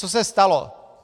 Co se stalo?